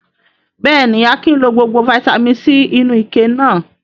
Bẹ́ẹ̀ ni, Akin lọ gbogbo fataímìn C inú ike náà.